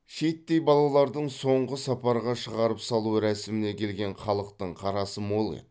шиеттей балалардың соңғы сапарға шығарып салу рәсіміне келген халықтың қарасы мол еді